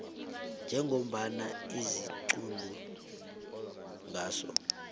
njengombana ziquntwa nguso